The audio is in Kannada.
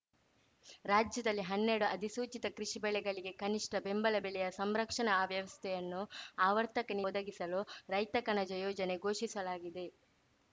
ರಾಜ್ಯದಲ್ಲಿ ಹನ್ನೆರಡು ಅಧಿಸೂಚಿತ ಕೃಷಿ ಬೆಳೆಗಳಿಗೆ ಕನಿಷ್ಠ ಬೆಂಬಲ ಬೆಲೆಯ ಸಂರಕ್ಷಣಾ ವ್ಯವಸ್ಥೆಯನ್ನು ಆವರ್ತಕ ಒದಗಿಸಲು ರೈತ ಕಣಜ ಯೋಜನೆ ಘೋಷಿಸಲಾಗಿದೆ